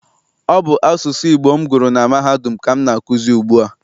Ọ bụ asụsụ Igbo m gụrụ na mahadum ka m na-akụzi ugbu a.